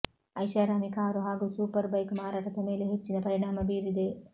ಐಷಾರಾಮಿ ಕಾರು ಹಾಗೂ super bike ಮಾರಾಟದ ಮೇಲೆ ಹೆಚ್ಚಿನ ಪರಿಣಾಮ ಬೀರಿದೆ